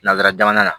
Nanzara jamana